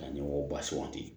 Ka ɲɛmɔgɔw ba suganti